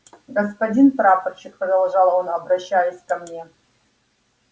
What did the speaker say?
господин прапорщик продолжал он обращаясь ко мне